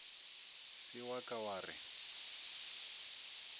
se wa ka wa re